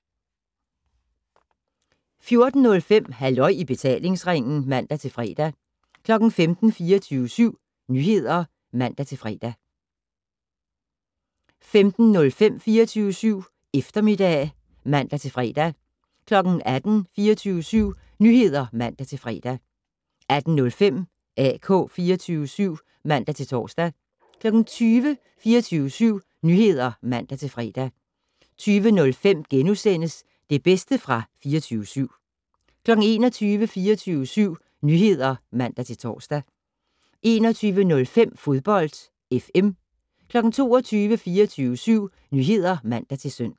14:05: Halløj i betalingsringen (man-fre) 15:00: 24syv Nyheder (man-lør) 15:05: 24syv Eftermiddag (man-fre) 18:00: 24syv Nyheder (man-fre) 18:05: AK 24syv (man-tor) 20:00: 24syv Nyheder (man-fre) 20:05: Det bedste fra 24syv * 21:00: 24syv Nyheder (man-tor) 21:05: Fodbold FM 22:00: 24syv Nyheder (man-søn)